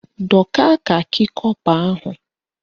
Dọka kakị kọpa ahụ!